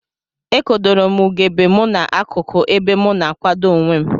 Ekodorom ugegbe mu na akuku ebe mu na akwado onwem.